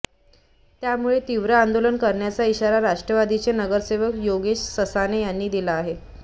त्यामुळे तीव्र आंदोलन करण्याचा ईशारा राष्ट्रवादीचे नगरसेवक योगेश ससाणे यांनी दिला आहे